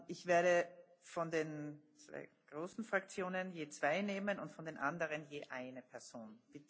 Ich werde von den zwei großen Fraktionen je zwei nehmen und von den anderen je eine Person.